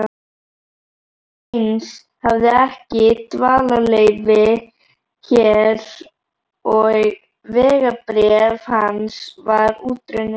Heinz hafði ekki dvalarleyfi hér og vegabréf hans var útrunnið.